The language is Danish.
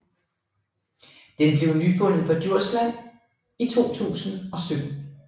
Den blev nyfundet på Djursland i 2017